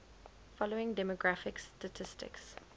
following demographic statistics